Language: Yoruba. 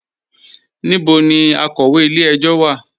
Níbọ̀ ni akọwé ilẹ̀-ẹ̀jọ̀ wa?